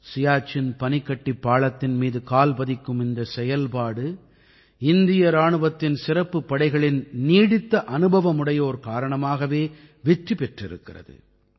சியாச்சின் பனிக்கட்டிப் பாளத்தின் மீது கால் பதிக்கும் இந்தச் செயல்பாடு இந்திய இராணுவத்தின் சிறப்புப் படைகளின் நீடித்த அனுபவமுடையோர் காரணமாகவே வெற்றி பெற்றிருக்கிறது